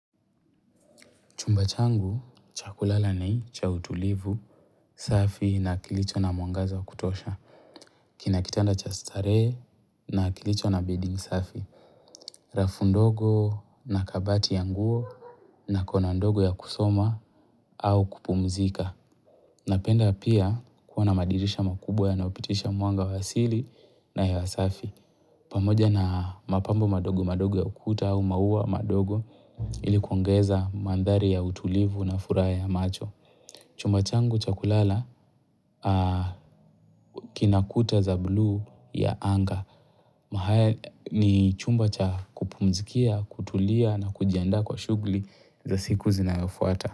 Chumba changu, cha kulala ni cha utulivu, safi na kilicho na mwangaza wa kutosha. Kina kitanda cha starehe na kilicho na bedding safi. Rafu ndogo na kabati ya nguo na kona ndogo ya kusoma au kupumzika. Napenda pia kuona madirisha makubwa yanayopitisha mwanga wa siri na hewa safi. Pamoja na mapambo mandogo mandogo ya ukuta au maua mandogo ilikuongeza mandhari ya utulivu na furaha ya macho. Chumba changu cha kulala kina kuta za bluu ya anga. Na haya ni chumba cha kupumzikia, kutulia na kujiandaa kwa shughuli za siku zinayofuata.